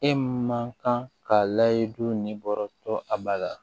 E man kan ka layiri ni bɔrɔtɔ a ba la